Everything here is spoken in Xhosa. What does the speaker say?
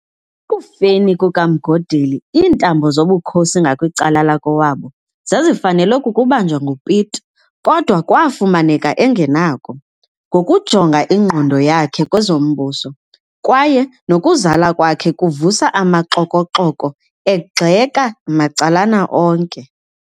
Ekufeni kukaMgodeli iintambo zobukhosi ngakwicala lakowabo, zazifanelwe kukubanjwa nguPete, kodwa kwaafumaneka engenakho, ngokujonga ingqondo yakhe kwezombuso, kwaye nokuzalwa kwakhe kuvusa amaxoko-xoko egxeka macalana onke.